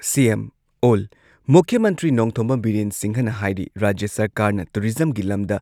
CM ꯑꯣꯜ ꯃꯨꯈ꯭ꯌ ꯃꯟꯇ꯭ꯔꯤ ꯅꯣꯡꯊꯣꯝꯕꯝ ꯕꯤꯔꯦꯟ ꯁꯤꯡꯍꯅ ꯍꯥꯏꯔꯤ ꯔꯥꯖ꯭ꯌ ꯁꯔꯀꯥꯔꯅ ꯇꯨꯔꯤꯖꯝꯒꯤ ꯂꯝꯗ